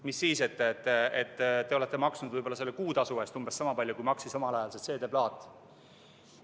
Mis siis, et te olete maksnud selle kuutasu umbes sama palju, kui maksis omal ajal CD-plaat.